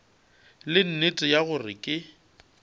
le nnete ya gore ke